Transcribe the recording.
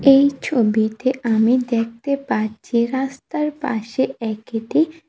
এই ছবিতে আমি দেখতে পারছি রাস্তার পাশে একটি--